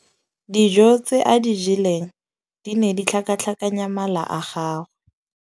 Dijô tse a di jeleng di ne di tlhakatlhakanya mala a gagwe.